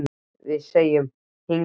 Við segjum: Hingað og ekki lengra!